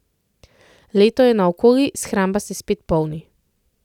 Leto je naokoli, shramba se spet polni.